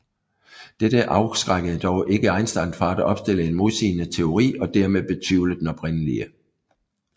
Dette afskrækkede dog ikke Einstein fra at opstille en modsigende teori og dermed betvivle den oprindelige